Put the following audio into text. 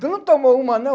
Tu não tomou uma, não?